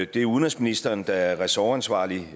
det er udenrigsministeren der er ressortansvarlig